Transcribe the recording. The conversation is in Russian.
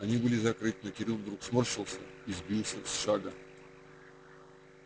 они были закрыты но кирилл вдруг сморщился и сбился с шага